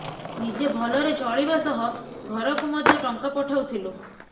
ନିଜେ ଭଲରେ ଚଳିବା ସହ ଘରକୁ ମଧ୍ୟ ଟଙ୍କା ପଠାଉଥିଲୁ